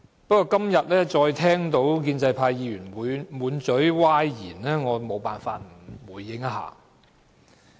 不過，今天再聽到建制派議員滿口歪理，我沒辦法不作出回應。